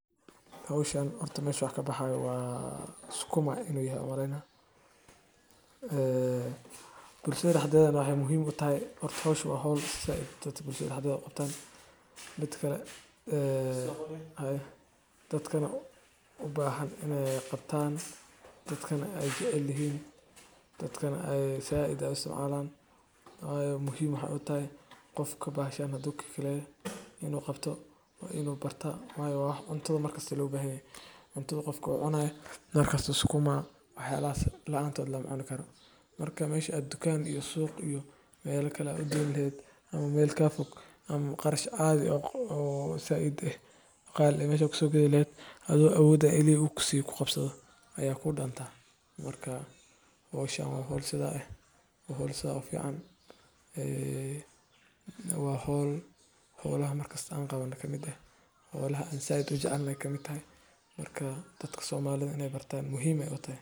Geedkan waxaa loo adeegsadaa dhinacyo badan sida daawo dhaqameed, qurxinta deegaanka, iyo xitaa mararka qaar, calafka xoolaha. Caleemaha calenta cagaaran waxaa dadka qaarkood u isticmaalaan inay ku cabin shaah ama ay ku kariyaan biyo kulul si ay uga daweeyaan xanuunada caloosha, madax xanuunka ama neefta.